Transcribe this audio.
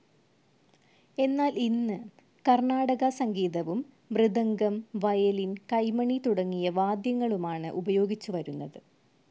എന്നാൽ ഇന്ന് കർണാടക സംഗീതവും, മൃദഗം, വയലിൻ, കൈമണി തുടങ്ങിയ വാദ്യങ്ങളുമാണ് ഉപയോഗിച്ചുവരുന്നത്.